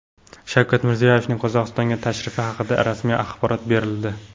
Shavkat Mirziyoyevning Qozog‘istonga tashrifi haqida rasmiy axborot berildi.